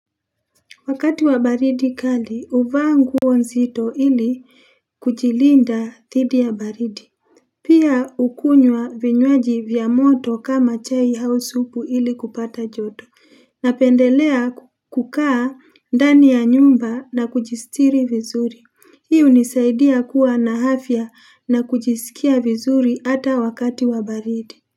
Wakati wa baridi kali, uvaa nguo nzito ili kujilinda dhidi ya baridi. Pia ukunywa vinywaji vya moto kama chai au supu ili kupata joto. Napendelea kukaa ndani ya nyumba na kujistiri vizuri. Hii unisaidia kuwa na afya na kujisikia vizuri ata wakati wa baridi.